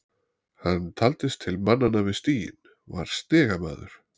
Hann taldist til mannanna við stiginn, var stigamaður.